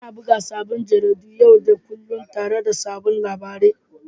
Ana buga sabbin jaridu yau da kullun tare da sabbin labarai.